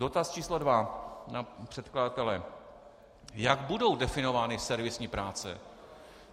Dotaz číslo dva na předkladatele: Jak budou definovány servisní práce?